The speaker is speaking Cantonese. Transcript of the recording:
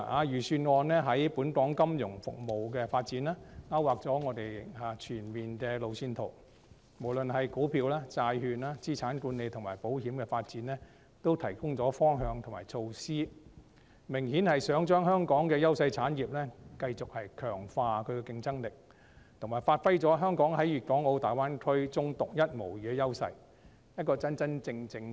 預算案在本港金融服務的發展方面，勾劃全面的路線圖；無論就股票、債券、資產管理及保險發展，均提供方向和措施，明顯地擬繼續強化香港優勢產業的競爭力，以及發揮香港在粵港澳大灣區中獨一無二的優勢，作為一個真正的國際化城市。